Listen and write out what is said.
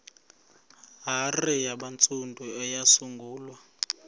hare yabantsundu eyasungulwa